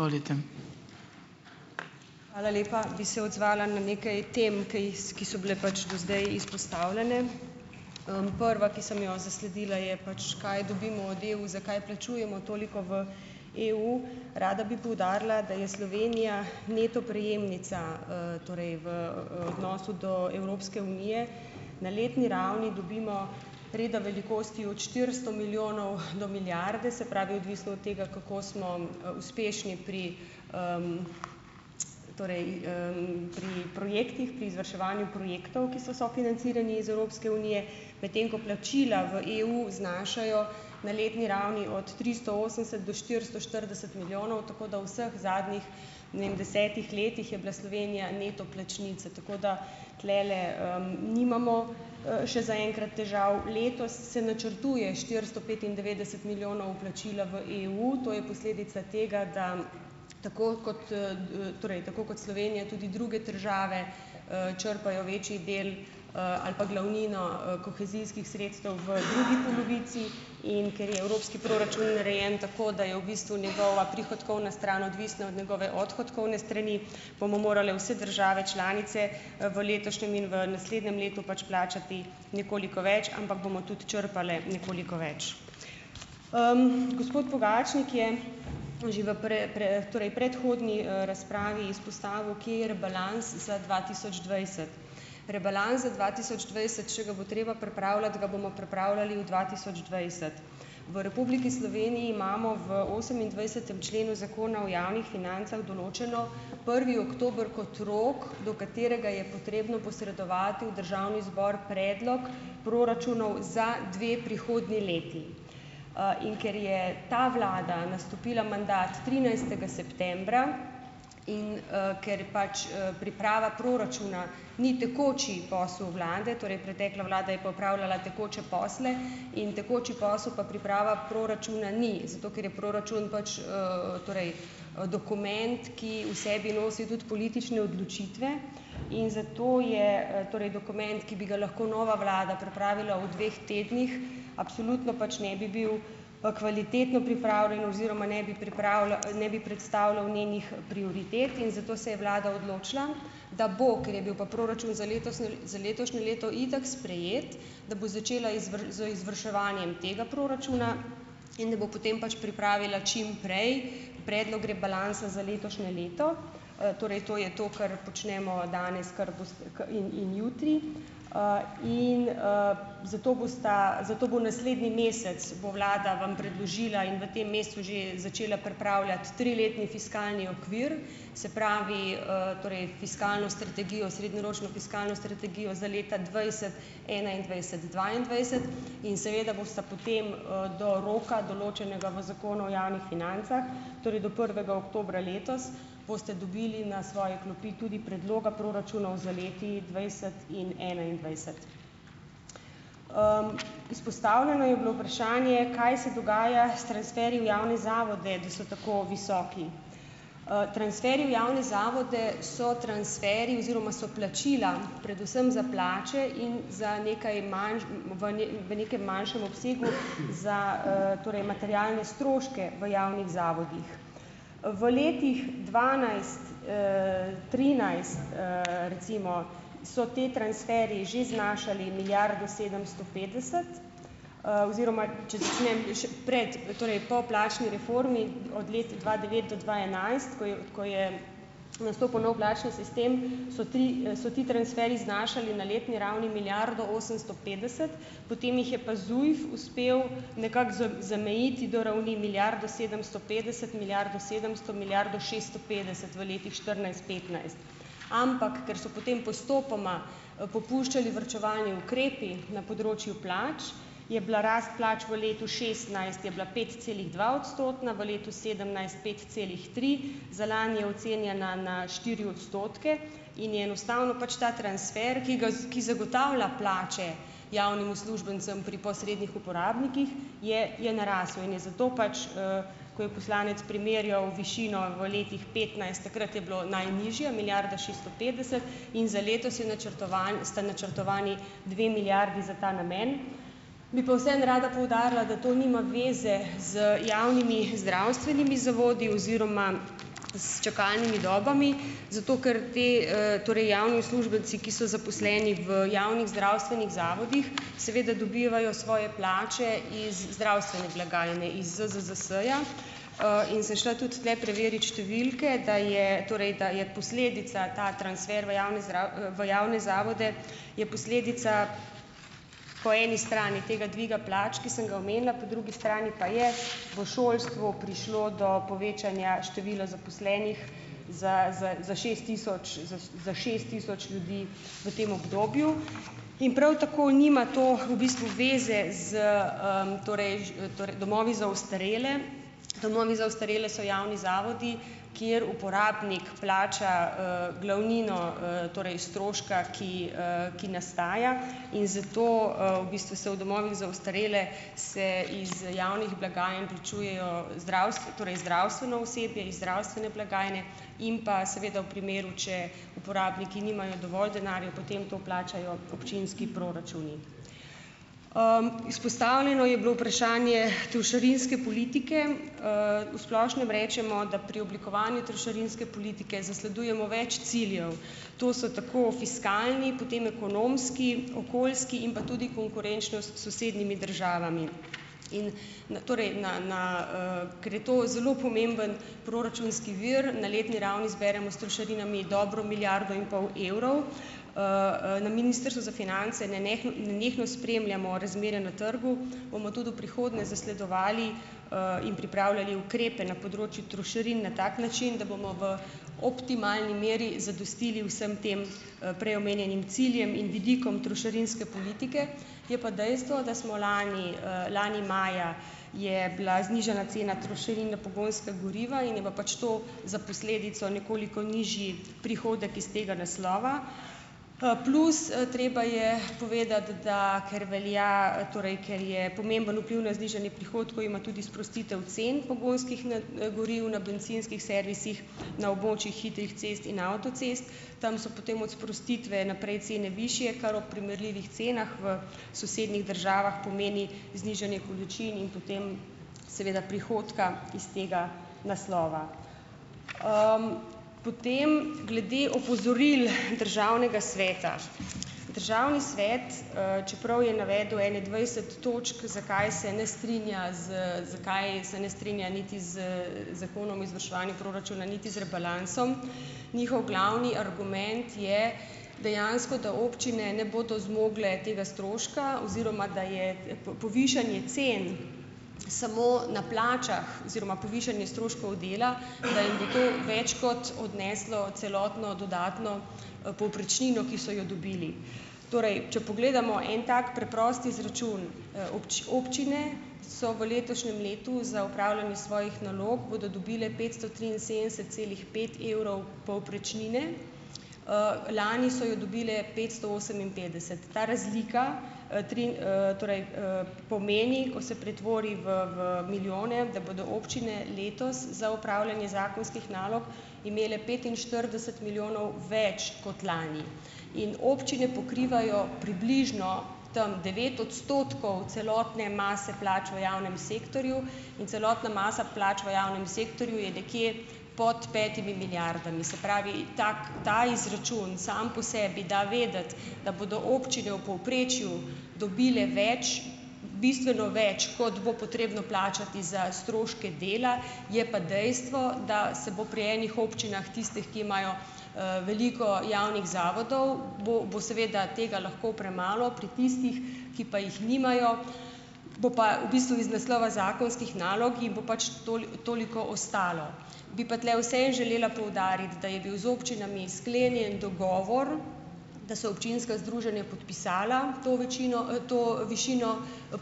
Izvolite. Hvala lepa. Bi se odzvala na nekaj tem, ko ki so bile pač do zdaj izpostavljene. Prva, ki sem jo zasledila, je, pač kaj dobimo od EU, zakaj plačujemo toliko v EU? Rada bi poudarila, da je Slovenija neto prejemnica, torej v odnosu do Evropske unije. Na letni ravni dobimo reda velikosti od štiristo milijonov do milijarde, se pravi odvisno od tega, kako smo uspešni pri torej, pri projektih, pri izvrševanju projektov, ki so sofinancirani iz Evropske unije, medtem ko plačila v EU znašajo na letni ravni, od tristo osemdeset do štiristo štirideset milijonov, tako da vseh zadnjih nem desetih letih je bila Slovenija neto plačnica. Tako da tulele nimamo še za enkrat težav. Letos se načrtuje štiristo petindevetdeset milijonov vplačila v EU, to je posledica tega, da tako kot torej tako kot Slovenija tudi druge države črpajo večji del ali pa glavnino kohezijskih sredstev v drugi polovici, in ker je evropski proračun narejen tako, da je v bistvu njegova prihodkovna stran odvisna od njegove odhodkovne strani, bomo morale vse države članice v letošnjem in v naslednjem letu pač plačati nekoliko več, ampak bomo tudi črpale nekoliko več. Gospod Pogačnik je že v torej predhodni razpravi izpostavil, kje je rebalans za dva tisoč dvajset. Rebalans za dva tisoč dvajset, če ga bo treba pripravljati, ga bomo pripravljali v dva tisoč dvajset. V Republiki Sloveniji imamo v osemindvajsetem členu Zakona o javnih financah določeno prvi oktober kot rok, do katerega je potrebno posredovati v Državni zbor predlog proračunov za dve prihodnji leti. In ker je ta vlada nastopila mandat trinajstega septembra in ker pač priprava proračuna ni tekoči posel vlade, torej pretekla vlada je pa opravljala tekoče posle in tekoči posel pa priprava proračuna ni, zato ker je proračun pač torej dokument, ki v sebi nosi tudi politične odločitve, in zato je torej dokument, ki bi ga lahko nova vlada pripravila v dveh tednih, absolutno pač ne bi bil kvalitetno pripravljen oziroma ne bi ne bi predstavljal njenih prioritet, in zato se je Vlada odločila, da bo, ker je bil pa proračun za letošnje za letošnje leto itak sprejet, da bo začela z izvrševanjem tega proračuna in da bo potem pač pripravila čim prej predlog rebalansa za letošnje leto, torej to je to, kar počnemo danes kar in in jutri, in zato bosta zato bo naslednji mesec bo vlada vam predložila in v tem mesecu že začela pripravljati triletni fiskalni okvir, se pravi, torej fiskalno strategijo, srednjeročno fiskalno strategijo za leta dvajset, enaindvajset, dvaindvajset, in seveda bosta potem do roka, določenega v Zakonu o javnih financah, torej do prvega oktobra letos, boste dobili na svoje klopi tudi predloga proračunov za leti dvajset in enaindvajset. Izpostavljeno je bilo vprašanje, kaj se dogaja s transferji v javne zavode, da so tako visoki. Transferji v javne zavode so transferji oziroma so plačila predvsem za plače in za nekaj, v nekem manjšem obsegu, za torej materialne stroške v javnih zavodih. V letih dvanajst, trinajst, recimo, so ti transferji že znašali milijardo sedemsto petdeset, oziroma če začnem pred, torej po plačni reformi od let dva devet do dva enajst, ko ko je nastopil nov plačni sistem, so ti so ti transferji znašali na letni ravni milijardo osemsto petdeset, potem jih je pa ZUJF uspel nekako zamejiti do ravni milijardo sedemsto petdeset, milijardo sedemsto, milijardo šeststo petdeset v letih štirinajst, petnajst. Ampak ker so potem postopoma popuščali varčevalni ukrepi na področju plač, je bila rast plač v letu šestnajst je bila petcelihdvaodstotna, v letu sedemnajst pet celih tri, za lani je ocenjena na štiri odstotke, in je enostavno pač ta transfer, ki ga ki zagotavlja plače javnim uslužbencem pri posrednih uporabnikih, je je narasel in je zato pač ko je poslanec primerjal višino v letih petnajst, takrat je bilo najnižja milijarda šeststo petdeset, in za letos je načrtovan sta načrtovani dve milijardi za ta namen. Bi pa vseeno rada poudarila, da to nima veze z javnimi zdravstvenimi zavodi oziroma s čakalnimi dobami zato, ker ti torej javni uslužbenci, ki so zaposleni v javnih zdravstvenih zavodih, seveda dobivajo svoje plače iz zdravstvene blagajne iz ZZZS-ja, in šla tudi tule preverit številke, da je torej da je posledica ta transfer v javne v javne zavode je posledica po eni strani tega dviga plač, ki sem ga omenila, po drugi strani pa je bo šolstvu prišlo do povečanja števila zaposlenih za za šest tisoč za šest tisoč ljudi v tem obdobju in prav tako nima to v bistvu veze s torej torej domovi za ostarele, domovi za ostarele so javni zavodi, kjer uporabnik plača glavnino torej stroška, ki ki nastajajo in zato v bistvu se v domovih za ostarele, see iz javnih blagajn plačujejo torej zdravstveno osebje iz zdravstvene blagajne, in pa seveda v primeru, če uporabniki nimajo dovolj denarja, potem to plačajo občinski proračuni. Izpostavljeno je bilo vprašanje trošarinske politike. V splošnem rečemo, da pri oblikovanju trošarinske politike zasledujemo več ciljev. To so tako fiskalni, potem ekonomski, okoljski in pa tudi konkurenčnost s sosednjimi državami. In torej na na ker je to zelo pomemben proračunski vir, na letni ravni zberemo s trošarinami dobro milijardo in pol evrov. Na Ministrstvu za finance nenehno spremljamo razmere na trgu, bomo tudi v prihodnje zasledovali in pripravljali ukrepe na področju trošarin na tak način, da bomo v optimalni meri zadostili vsem tem prej omenjenim ciljem in vidikom trošarinske politike, je pa dejstvo, da smo lani lani maja, je bila znižana cena trošarin na pogonska goriva in je pa pač to za posledico nekoliko nižji prihodek iz tega naslova, pa plus treba je povedati da, ker velja, torej ker je pomemben vpliv na znižanje prihodkov, ima tudi sprostitev cen pogonskih goriv na bencinskih servisih, na območjih hitrih cest in avtocest. Tam so potem od sprostitve naprej cene višje, kar ob primerljivih cenah v sosednjih državah pomeni znižanje količin in potem seveda prihodka iz tega naslova. Potem glede opozoril Državnega sveta. Državni svet, čeprav je navedel ene dvajset točk, zakaj se ne strinja z zakaj se ne strinja niti z Zakonom o izvrševanju proračuna niti z rebalansom, njihov glavni argument je dejansko, da občine ne bodo zmogle tega stroška oziroma da je povišanje cen samo na plačah oziroma povišanje stroškov dela, da jim bo to več kot odneslo celotno dodatno povprečnino, ki so jo dobili. Torej če pogledamo en tak preprost izračun, občine so v letošnjem letu za opravljanje svojih nalog, bodo dobile petsto triinsedemdeset celih pet evrov povprečnine, lani so je dobile petsto oseminpetdeset. Ta razlika tri torej pomeni, ko se pretvori v v milijone, da bodo občine letos za opravljanje zakonskih nalog imele petinštirideset milijonov več kot lani in občine pokrivajo približno tam devet odstotkov celotne mase plač v javnem sektorju in celotna masa plač v javnem sektorju je nekje pod petimi milijardami. Se pravi, tak ta izračun sam po sebi da vedeti, da bodo občine v povprečju dobile več, bistveno več, kot bo potrebno plačati za stroške dela, je pa dejstvo, da se bo pri enih občinah, tistih, ki imajo veliko javnih zavodov, bo bo seveda tega lahko premalo, pri tistih, ki pa jih nimajo, bo pa v bistvu iz naslova zakonskih nalog jih bo pač toliko ostalo. Bi pa tule vseeno želela poudariti, da je bil z občinami sklenjen dogovor, da so občinska združenja podpisala to večino to višino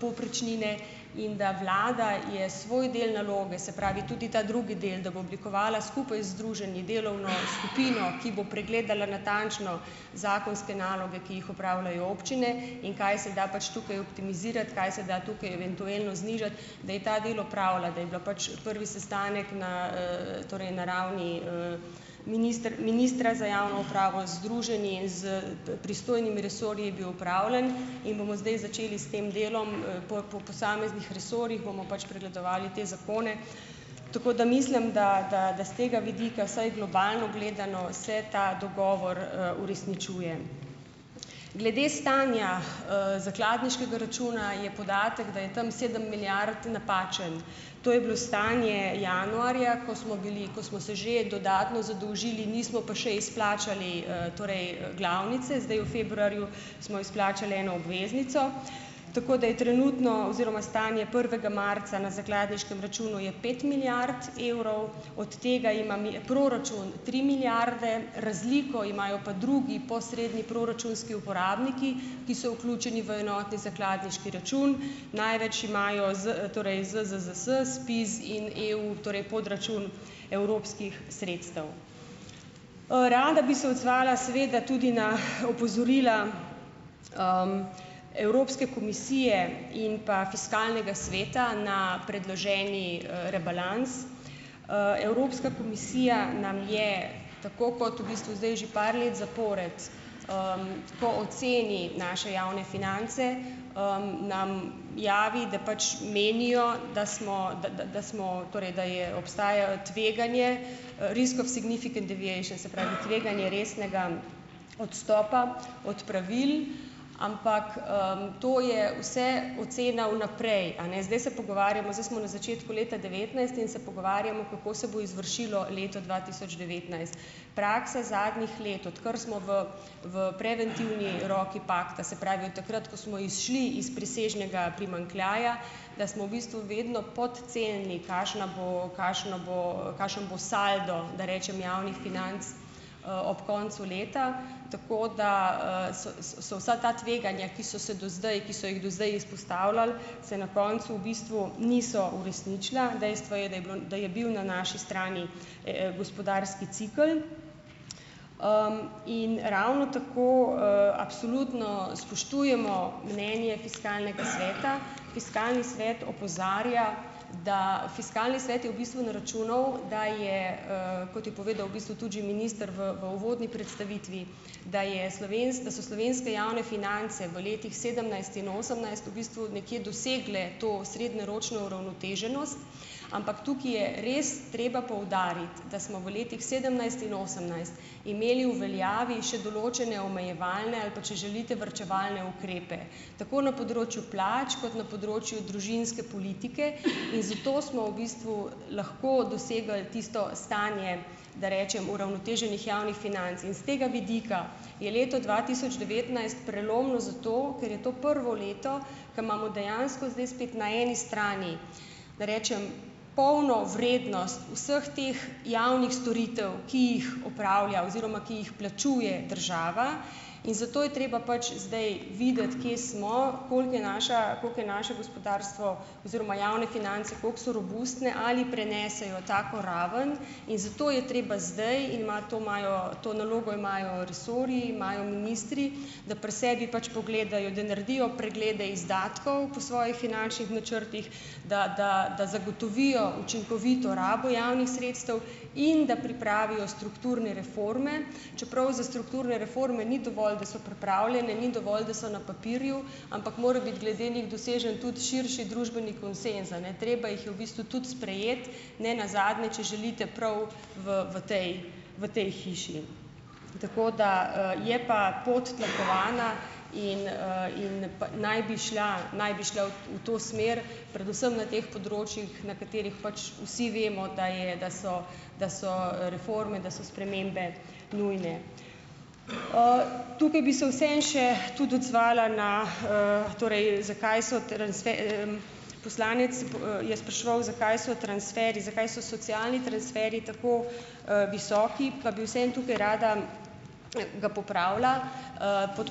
povprečnine, in da vlada je svoj del naloge, se pravi, tudi ta drugi del, da bo oblikovala skupaj z združenji delovno skupino , ki bo pregledala natančno zakonske naloge, ki jih opravljajo občine, in kaj se da pač tukaj optimizirati, kaj se da tukaj eventualno znižati, da je ta del opravila, da je bila pač prvi sestanek ne torej na ravni minister ministra za javno upravo, združenji, s pristojnimi resorji bil opravljen in bomo zdaj začeli s tem delom po pa posameznih resorjih, bomo pač pregledovali te zakone, tako da mislim, da da da s tega vidika vsaj globalno gledano se ta dogovor uresničuje. Glede stanja zakladniškega računa je podatek, da je tam sedem milijard, napačen. To je bilo stanje januarja, ko smo bili, ko smo se že dodatno zadolžili, nismo pa še izplačali torej glavnice. Zdaj v februarju smo izplačali eno obveznico, tako da je trenutno oziroma stanje prvega marca na zakladniškem računu je pet milijard evrov, od tega imam proračun tri milijarde, razliko imajo pa drugi posredni proračunski uporabniki, ki so vključeni v enotni zakladniški račun, največ imajo Z torej ZZZS, SPIZ in EU, torej podračun evropskih sredstev. Rada bi se odzvala seveda tudi na opozorila Evropske komisije in pa Fiskalnega sveta ne predloženi rebalans. Evropska komisija nam je, tako kot v bistvu zdaj že par let zapored, ko oceni naše javne finance, nam javi, da pač menijo, da smo da da da smo, torej da je obstaja tveganje, risk of significant deviation, se pravi tveganje resnega odstopa od pravil, ampak to je vse ocena vnaprej a ne. Zdaj se pogovarjamo, zdaj smo na začetku leta devetnajst in se pogovarjamo, kako se bo izvršilo leto dva tisoč devetnajst. Praksa zadnjih let odkar smo v v preventivni roki pakta, se pravi, od takrat, ko smo izšli iz presežnega primanjkljaja, da smo v bistvu vedno podcenili, kakšna bo kakšna bo kakšen bo saldo, da rečem javnih financ ob koncu leta, tako da so so vsa ta tveganja, ki so se do zdaj, ki so jih do zdaj izpostavljali, se na koncu v bistvu niso uresničila. Dejstvo je, da je bilo da je bil na naši strani gospodarski cikel. In ravno tako absolutno spoštujemo mnenje Fiskalnega sveta. Fiskalni svet opozarja, da Fiskalni svet je v bistvu naračunal, da je, kot je povedal v bistvu tudi že minister v v uvodni predstavitvi, da je da so slovenske javne finance v letih sedemnajst in osemnajst v bistvu nekje dosegle to srednjeročno uravnoteženost, ampak tukaj je res treba poudariti, da smo v letih sedemnajst in osemnajst imeli v veljavi še določene omejevalne ali pa, če želite, varčevalne ukrepe. Tako na področju plač kot na področju družinske politike. In zato smo v bistvu lahko dosegli tisto stanje, da rečem, uravnoteženih javnih financ. In s tega vidika je leto dva tisoč devetnajst prelomno zato, ker je to prvo leto, ko imamo dejansko zdaj spet na eni strani, da rečem, polno vrednost vseh teh javnih storitev, ki jih opravlja oziroma ki jih plačuje država. In zato je treba pač zdaj videti, kje smo, koliko je naša, koliko je naše gospodarstvo oziroma javne finance kako so robustne, ali prenesejo tako raven. In zato je treba zdaj in ima to imajo to nalogo imajo resorji, imajo ministri, da pri sebi pač pogledajo, da naredijo preglede izdatkov po svojih finančnih načrtih, da da da zagotovijo učinkovito rabo javnih sredstev in da pripravijo strukturne reforme. Čeprav za strukturne reforme ni dovolj, da so pripravljene, ni dovolj, da so na papirju, ampak mora biti glede njih dosežen tudi širši družbeni konsenz a ne. Treba jih je v bistvu tudi sprejeti. Ne nazadnje, če želite, prav v v tej, v tej hiši. Tako da je pa pot tlakovana in in naj bi šla naj bi šla v v to smer, predvsem na teh področjih, na katerih pač vsi vemo, da je da so da so reforme, da so spremembe nujne. Tukaj bi se vseeno še tudi odzvala na torej, zakaj so, poslanec je spraševal, zakaj so transferji zakaj so socialni transferji tako visoki, pa bi vseeno tukaj rada ga popravila. Pod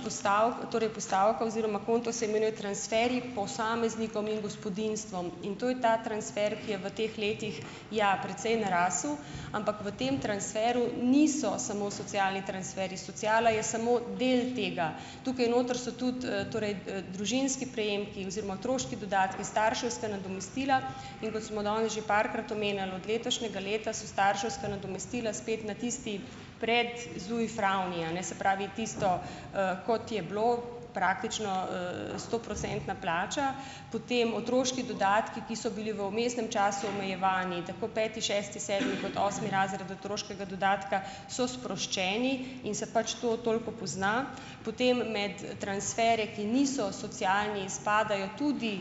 torej postavka oziroma konto se imenuje Transferji posameznikom in gospodinjstvom. In to je ta transfer, ki je v teh letih, ja, precej narasel. Ampak v tem transferu niso samo socialni transferji. Sociala je samo del tega. Tukaj notri so tudi torej družinski prejemki oziroma otroški dodatki, starševska nadomestila. In kot smo danes že parkrat omenili, od letošnjega leta so starševska nadomestila spet na tisti pred ZUJF ravni, a ne. Se pravi, tisto, kot je bilo praktično stoprocentna plača, potem otroški dodatki, ki so bili v vmesnem času omejevani, tako peti, šesti, sedmi kot osmi razred otroškega dodatka, so sproščeni in se pač to toliko pozna. Potem med transferje, ki niso socialni, izpadejo tudi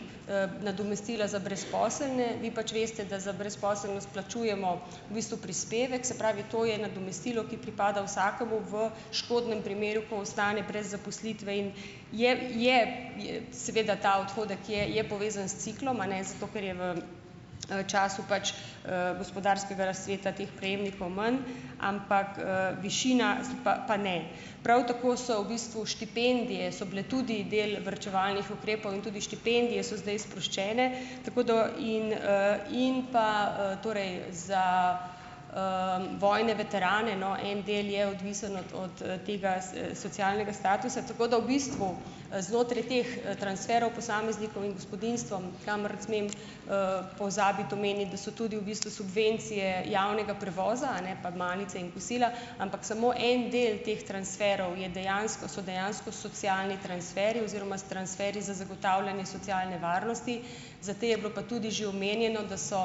nadomestila za brezposelne. Vi pač veste, da za brezposelnost plačujemo v bistvu prispevek. Se pravi, to je nadomestilo, ki pripada vsakemu v škodnem primeru, ko ostane brez zaposlitve in je je seveda ta odhodek je je povezan s ciklom, a ne, zato ker je v času pač gospodarskega razcveta teh prejemnikov manj. Ampak višina pa pa ne. Prav tako so v bistvu štipendije so bile tudi del varčevalnih ukrepov. In tudi štipendije so zdaj sproščene. Tako da in in pa torej za vojne veterane, no, en del je odvisen od od tega socialnega statusa, tako da v bistvu znotraj teh transferov posameznikov in gospodinjstvom, kamor smem pozabiti omeniti, da so tudi v bistvu subvencije javnega prevoza, a ne, pa malice in kosila, ampak samo en del teh transferov je dejansko so dejansko socialni transferji oziroma s transferi za zagotavljanje socialne varnosti. Za te je bilo pa tudi že omenjeno, da so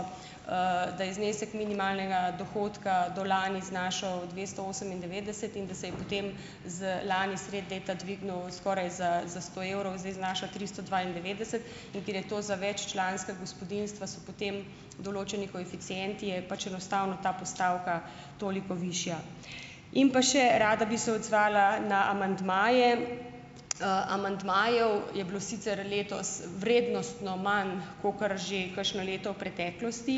da je znesek minimalnega dohodka do lani znašal dvesto osemindevetdeset in da se je potem z lani sredi leta dvignil skoraj za za sto evrov, zdaj znaša tristo dvaindevetdeset, in ker je to za veččlanska gospodinjstva, so potem določeni koeficienti, je pač enostavno ta postavka toliko višja. In pa še rada bi se odzvala na amandmaje. Amandmajev je bilo sicer letos vrednostno manj kakor že kakšno leto v preteklosti,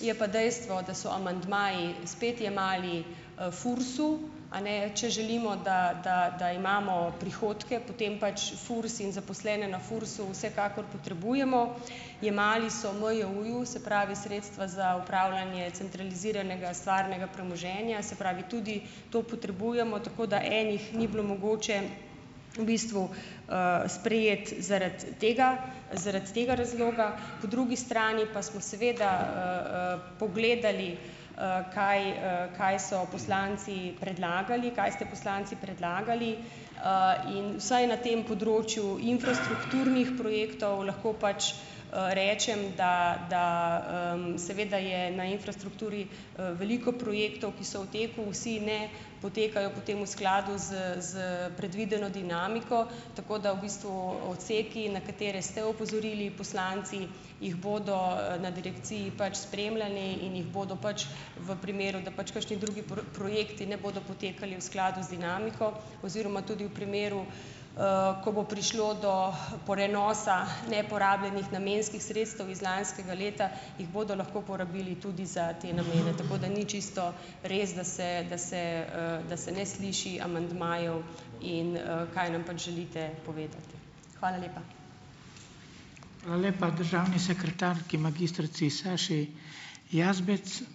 je pa dejstvo, da so amandmaji spet jemali FURS-u, a ne, če želimo, da da da imamo prihodke, potem pač FURS in zaposlene na FURS-u vsekakor potrebujemo. Jemali so MJU-ju, se pravi sredstva za upravljanje centraliziranega stvarnega premoženja, se pravi tudi to potrebujemo, tako da ene ni bilo mogoče v bistvu sprejeti zaradi tega zaradi tega razloga, po drugi strani pa smo seveda pogledali, kaj kaj so poslanci predlagali, kaj ste poslanci predlagali in vsaj na tem področju infrastrukturnih projektov lahko pač rečem, da da seveda je na infrastrukturi veliko projektov, ki so v teku. Vsi ne potekajo potem v skladu s s predvideno dinamiko, tako da v bistvu odseki, na katere ste opozorili poslanci, jih bodo na direkciji pač spremljali in jih bodo pač v primeru, da pač kakšni drugi projekti ne bodo potekali v skladu z dinamiko, oziroma tudi v primeru, ko bo prišlo do prenosa neporabljenih namenskih sredstev iz lanskega leta, jih bodo lahko porabili tudi za te namene. Tako da ni čisto res, da se da se da se ne sliši amandmajev in kaj nam pač želite povedati. Hvala lepa. lepa državni sekretarki, magistrici Saši Jazbec,